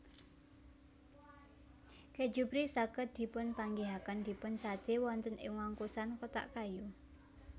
Kèju Brie saged dipunpanggihaken dipunsadé wonten ing wungkusan kotak kayu